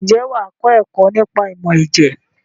Ǹjẹ́ wà á kọ́ ẹ̀kọ́ nípa ìmọ̀ ẹ̀jẹ̀?